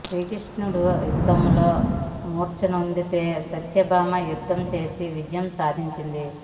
శ్రీకృష్ణడు ఆ యుద్ధంలో మూర్చనొందితే సత్యభామ యుద్ధం చేసి విజయం సాధించింది